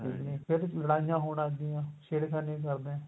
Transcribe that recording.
ਠੀਕ ਏ ਫੇਰ ਲੜਾਇਆ ਕਰਦੇ ਆ ਛੇੜਖਾਨੀ ਕਰਦੇ ਆ